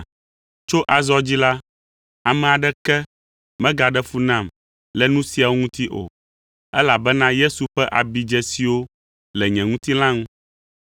Tso azɔ dzi la, ame aɖeke megaɖe fu nam le nu siawo ŋuti o, elabena Yesu ƒe abidzesiwo le nye ŋutilã ŋu.